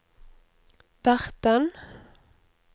verten